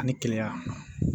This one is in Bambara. Ani keleya